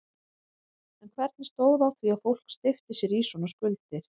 En hvernig stóð á því að fólk steypti sér í svona skuldir?